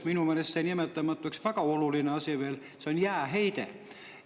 Minu meelest jäi veel nimetamata üks väga oluline asi: see on jääheide.